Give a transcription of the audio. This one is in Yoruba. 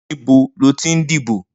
Nibó ló ti n dibó?